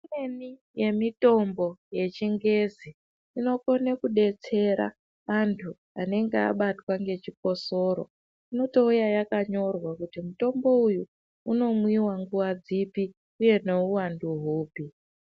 Imweni yemitombo yechingezi inokona kudetsera antu anenge ane chikosoro inouya yakanyorwa kuti mutombo uyu unomwiwwa nguwa dzipi uye nguwai.